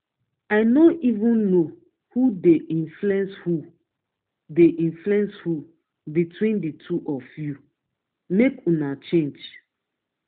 i no even know who dey influence who dey influence who between the two of you. make una change